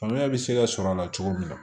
Faamuyali bɛ se ka sɔrɔ a la cogo min na